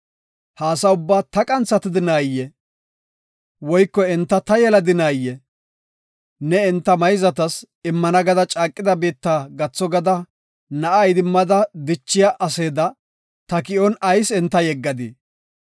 Ha asa ubbaa ta qanthatadinayee? Woyko enta ta yeladinaayee? Ne enta mayzatas, immana gada caaqida biitta gatho gada na7a idimmada dichiya aseeda ta ki7on ayis enta yeggadii?